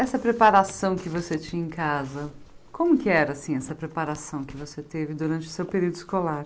Essa preparação que você tinha em casa, como que era, assim, essa preparação que você teve durante o seu período escolar?